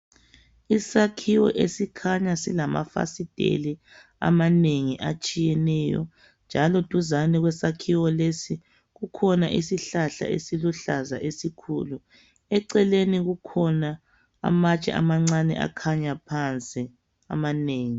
Isakhiwo esikhanya silamafasiteli amanengi atshiyeneyo njalo duzana kwesakhiwo lesi kukhona isihlahla esiluhlaza esikhulu, eceleni kukhona amatshe amancane akhanya phansi amanengi.